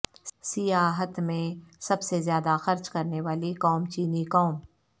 سیاحت میں سب سے زیادہ خرچ کرنے والی قوم چینی قوم